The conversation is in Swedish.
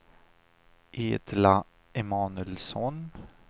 Edla Emanuelsson